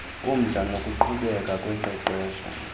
umdla nokuqhubeka koqeqesho